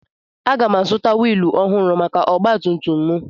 Aga m azụta wiilụ ọhụrụ maka ọgba tum tum m